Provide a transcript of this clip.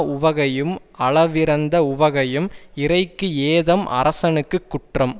உவகையும் அளவிறந்த உவகையும் இறைக்கு ஏதம் அரசனுக்கு குற்றம்